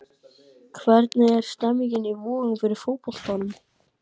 Hvernig er stemningin í Vogum fyrir fótboltanum?